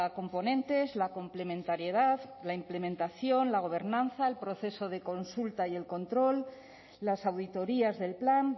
componentes la complementariedad la implementación la gobernanza el proceso de consulta y el control las auditorías del plan